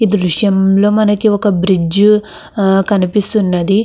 ఈ దృశ్యం లో మనకి ఒక బ్రిడ్జ్ కనిపిస్తున్నది.